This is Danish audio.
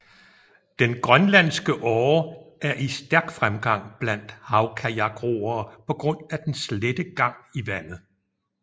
Den grønlandske åre er i stærk fremgang blandt havkajakroere på grund af dens lette gang i vandet